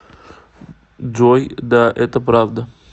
джой да это правда